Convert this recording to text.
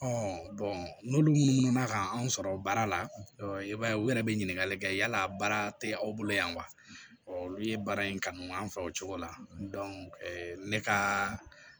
n'olu munnu na ka anw sɔrɔ baara la i b'a ye u yɛrɛ bɛ ɲininkali kɛ yala baara tɛ aw bolo yan wa ɔ olu ye baara in kanu an fɛ o cogo la ne ka